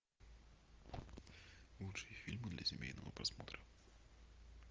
лучшие фильмы для семейного просмотра